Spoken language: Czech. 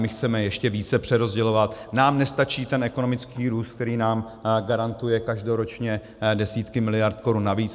My chceme ještě více přerozdělovat, nám nestačí ten ekonomický růst, který nám garantuje každoročně desítky miliard korun navíc.